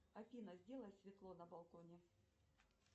афина сделай светло на балконе